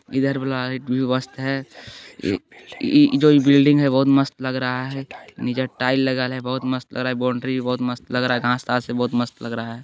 इधर वाला वियु है ये जो बिल्डिंग है वो भी बहुत मस्त लग रहा है नीचे टाइल्स लगा है बहुत मस्त लग रहा है बाउंड्री भी बहुत मस्त लग रहा है नीचे घास तास है बहुत मस्त लग रहा है।